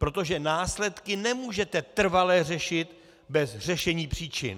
Protože následky nemůžete trvale řešit bez řešení příčin.